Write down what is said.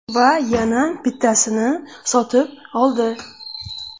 Va yana bittasini sotib oldi.